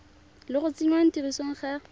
le go tsenngwa tirisong ga